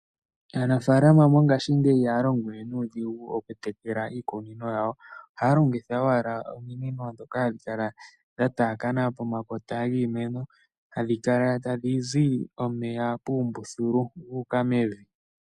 Aanafalama mongashingeyi ihaya longo we nuudhigu okutekela iimeno yawo. Ohaya longitha owala ominino ndhoka hadhi kala dha taakana pomakota giimeno hadhi kala tadhi zi omeya puumbululu gu uka mevi.